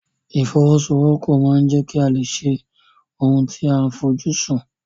Ìfọwọ́sowọ́pọ̀ ma ń jẹ́ kí a lè ṣe ohun tí a fojú sùn.